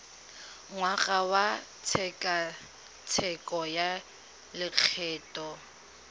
ngwaga wa tshekatsheko ya lokgetho